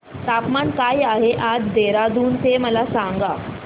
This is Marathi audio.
तापमान काय आहे आज देहराडून चे मला सांगा